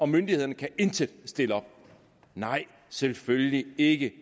myndighederne intet kan stille op nej selvfølgelig ikke